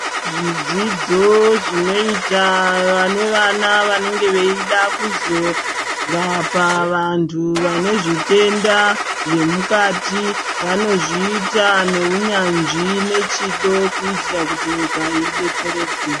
Zvidzidzo zvinoita vane vana vanenge veyida kuzorapa vantu vanezvitenda zvemukati, vanozvita newunyanzvi nechido kuitira kuti nyika idetsereke.